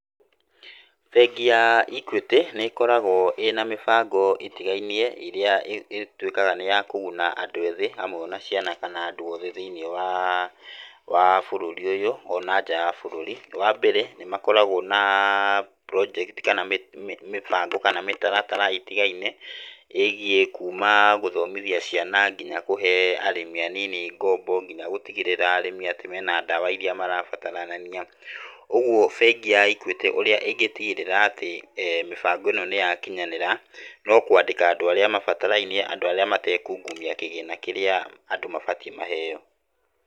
Bengi ya Equity nĩĩkoragwo ĩna mĩbango ĩtigainie ĩrĩa ĩtuĩkaga nĩ ya kũguna andũ ethĩ hamwe ona ciana kana andũ othe thĩ-inĩ wa bũrũri ũyũ ona nja wa bũrũri, wambere nĩmakoragwo na project kana mĩbango kana mĩtaratara ĩtigainie, ĩgiĩ kuma gũthomithia ciana nginya kũhe arĩmi anini ngombo nginya gũtigĩrĩra arĩmĩ atĩ mena dawa iria marabataranania, uguo bengi ya Equity ũrĩa ĩngĩtigĩrĩra atĩ eh mĩbango ĩno nĩyakinyanĩra, nokwandĩka andũ arĩa mabatarainie andũ arĩa matekungumia kĩgĩna kĩrĩa andũ mabatiĩ maheo.